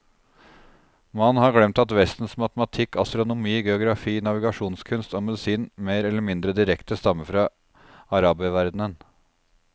Man har glemt at vestens matematikk, astronomi, geografi, navigasjonskunst og medisin mer eller mindre direkte stammer fra araberverdenen.